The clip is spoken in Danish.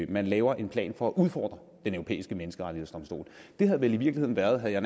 man laver en plan for at udfordre den europæiske menneskerettighedsdomstol det havde vel i virkeligheden været havde